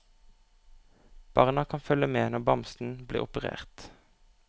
Barna kan følge med når bamsen blir operert.